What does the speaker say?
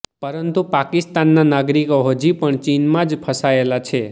પરંતુ પાકિસ્તાનના નાગરિકો હજી પન ચીનમાં જ ફસાયેલા છે